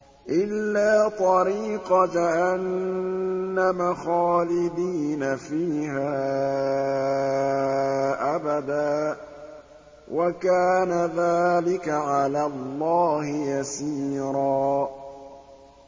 إِلَّا طَرِيقَ جَهَنَّمَ خَالِدِينَ فِيهَا أَبَدًا ۚ وَكَانَ ذَٰلِكَ عَلَى اللَّهِ يَسِيرًا